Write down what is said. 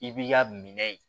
I b'i ka minɛ in